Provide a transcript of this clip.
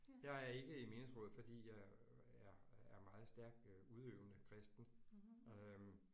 Jeg er ikke i menighedsrådet fordi jeg er er er meget stærk øh udøvende kristen øh